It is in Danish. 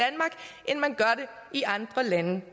i andre lande